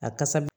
A kasa bi